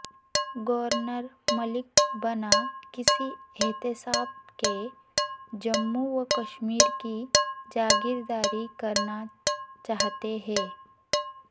governor Malik بنا کسی احتساب کے جموں وکشمیر کی جاگیرداری کرنا چاہتے ہیں